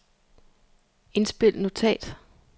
indspil notat